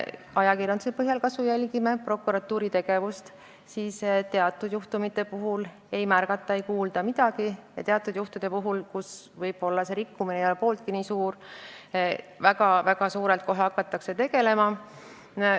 Ajakirjanduse põhjal prokuratuuri tegevust ja kajastusi jälgides on näha, et teatud juhtumite puhul ei märgata ega kajastata midagi, aga teatud juhtumite puhul, kus rikkumine ei olnud võib-olla pooltki nii suurt tähelepanu väärt, kajastatakse oma tegevust väga suurelt.